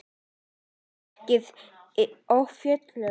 Alltaf jafn spræk og fjörug.